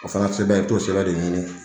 O fana sɛbɛn i bi t'o sɛbɛn de ɲini